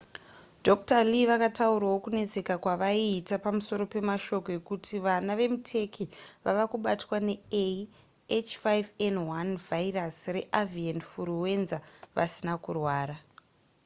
dr. lee vakataurawo kunetseka kwavaiita pamusoro pemashoko ekuti vana vemuturkey vava kubatwa nea h5n1 vhairasi reavian furuwenza vasina kurwara